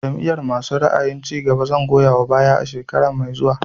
Jam'iyar masu ra'ayin cigaba zan goya wa baya shekara mai zuwa